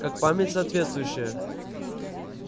как память соответствующая